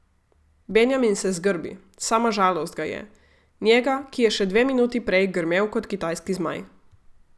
Benjamin se zgrbi, sama žalost ga je, njega, ki je še dve minuti prej grmel kot kitajski zmaj.